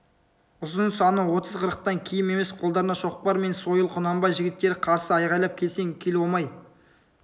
ұзын саны отыз-қырықтан кем емес қолдарында шоқпар мен сойыл құнанбай жігіттері қарсы айғайлап келсең кел омай